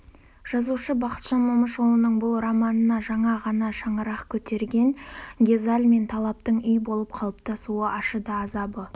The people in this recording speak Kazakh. жазушы бақытжан момышұлының бұл романына жаңа ғана шаңырақ көтерген гезал мен талаптың үй болып қалыптасуы ашы да азабы